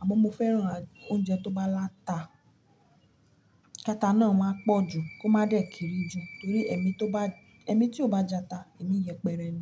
Àmọ́ mo fẹ́ràn oúnjẹ tó bá láta. Kata nù e máa pọ̀ jù, kó máa dẹ̀ kéré jù torí ẹ̀mí tó bá, ẹ̀mí tí ò bá jata, ẹ̀mí yẹpẹrẹ ni.